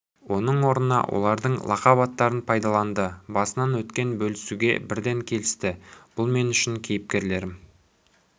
оның орнына олардың лақап аттарын пайдаланды басынан өткен бөлісуге бірден келісті бұл мен үшін кейіпкерлерім